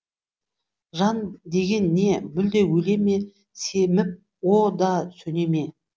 жан деген не мүлде өле ме семіп о да сөне ме